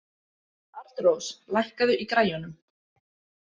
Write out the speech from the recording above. Arnrós, lækkaðu í græjunum.